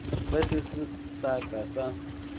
ge se sa ka sa